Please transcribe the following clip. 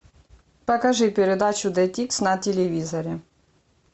покажи передачу детикс на телевизоре